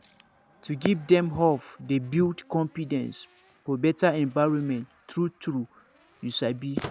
to give dem hope dey build confidence for better environment true true you sabi